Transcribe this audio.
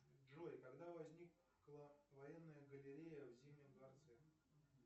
джой когда возникла военная галерея в зимнем дворце